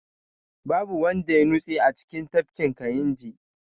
Babu wanda ya nutse a cikin tafkin kayinji